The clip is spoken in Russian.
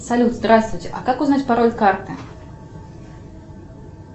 салют здравствуйте а как узнать пароль карты